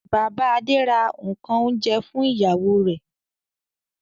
Bàbá Adé ra nǹkan oúnjẹ fún ìyàwó rẹ̀.